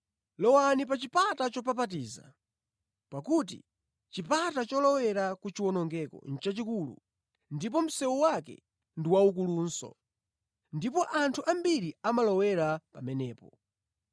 “Lowani pa chipata chopapatiza. Pakuti chipata cholowera kuchiwonongeko nʼchachikulu ndipo msewu wake ndi waukulunso. Ndipo anthu ambiri amalowera pamenepo.